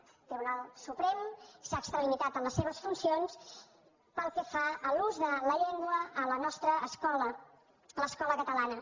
el tribunal suprem s’ha extralimitat en les seves funcions pel que fa a l’ús de la llengua a la nostra escola a l’escola catalana